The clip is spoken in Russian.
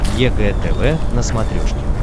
егэ тв на смотрешке